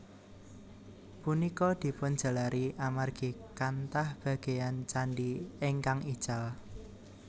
Punika dipun jalari amargi kanthah bagéyan candhi ingkang ical